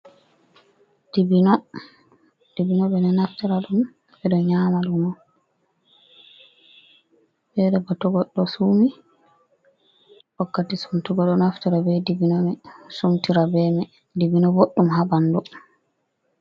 "Dibino"Dibino ɓeɗo naftira ɗum ɓeɗo nyama ɗum to goɗɗo sumi wakkati sumtugo do naftira ɓe dibbino o sumtira ɓe dibino boɗɗum ha ɓandu.